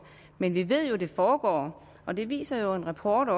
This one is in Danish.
men vi ved jo at det foregår og det viser en rapport